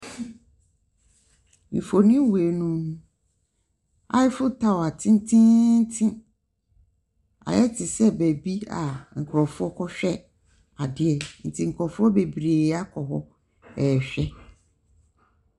Mfonin wei mu no, tower tententen. Ayɛ te sɛ baabi a nkurɔfoɔ kɔhwɛ adeɛ, nti nkurɔfoɔ bebree akɔ hɔ rehwɛ.